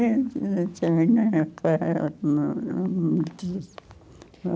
Não tinha ninguém para